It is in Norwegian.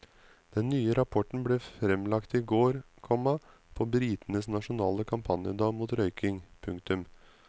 Den nye rapporten ble fremlagt i går, komma på britenes nasjonale kampanjedag mot røyking. punktum